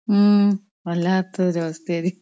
ഉം വല്ലാത്തൊരു അവസ്ഥയാടി.